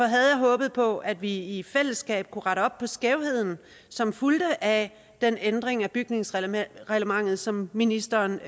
havde jeg håbet på at vi i fællesskab kunne rette op på skævheden som fulgte af den ændring af bygningsreglementet som ministeren